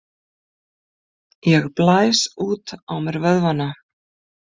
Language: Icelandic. Ég blæs út á mér vöðvana.